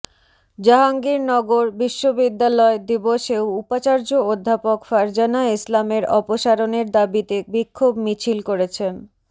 জাহাঙ্গীরনগর বিশ্ববিদ্যালয় দিবসেও উপাচার্য অধ্যাপক ফারজানা ইসলামের অপসারণের দাবিতে বিক্ষোভ মিছিল করেছেন